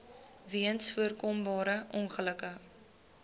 weens voorkombare ongelukke